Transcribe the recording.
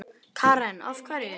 Karen: Af hverju?